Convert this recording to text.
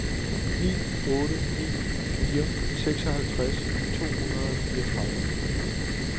ni otte ni fire seksoghalvtreds to hundrede og fireogtredive